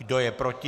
Kdo je proti?